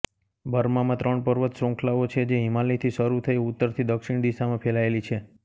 બર્મામાં ત્રણ પર્વત શ્રૃંખલાઓ છે જે હિમાલયથી શરૂ થઈ ઉત્તરથી દક્ષિણ દિશામાં ફેલાયેલી છે